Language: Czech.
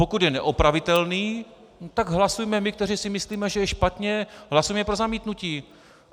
Pokud je neopravitelný, tak hlasujme my, kteří si myslíme, že je špatně, hlasujme pro zamítnutí.